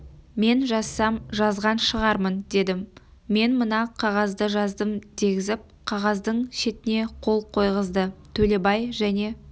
мен жазсам жазған шығармын дедім мен мына қағазды жаздым дегізіп қағаздың шетіне қол қойғызды төлебай және